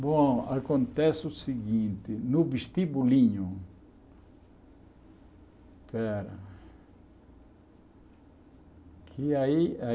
Bom, acontece o seguinte, no vestibulinho, pera que aí